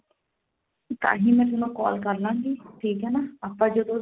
ਤਾਹੀਂ ਮੈਂ ਤੁਹਾਨੂੰ call ਕਰਲਾਂਗੀ ਠੀਕ ਆ ਆਪਾਂ ਜਦੋਂ ਆਪਾਂ ਉਹਦਾ